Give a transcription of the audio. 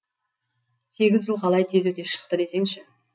сегіз жыл қалай тез өте шықты десеңші